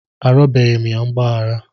Arịọbeghị m ya mgbaghara.